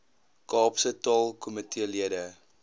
kaapse taalkomitee lede